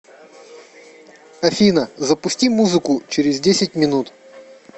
афина запусти музыку через десять минут